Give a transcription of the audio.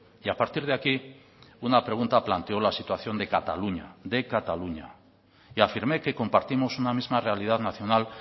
y a partir de aquí una pregunta planteó la situación de cataluña de cataluña y afirmé que compartimos una misma realidad nacional